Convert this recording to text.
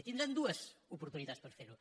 i tindran dues oportunitats per fer ho